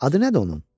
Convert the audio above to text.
Adı nədir onun?